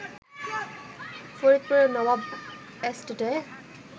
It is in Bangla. ফরিদপুরের নবাব এস্টেটে